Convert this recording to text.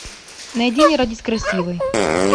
найди не родись красивой